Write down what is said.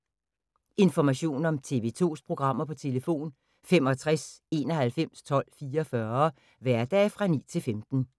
Information om TV 2's programmer: 65 91 12 44, hverdage 9-15.